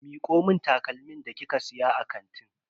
Miko mun takalmin da kika siya a kantin.